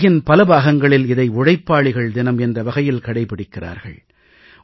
உலகின் பல பாகங்களில் இதை உழைப்பாளிகள் தினம் என்ற வகையில் கடைபிடிக்கிறார்கள்